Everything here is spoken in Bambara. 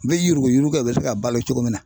N bɛ yuruguyurugu kɛ u bɛ se ka balo cogo min na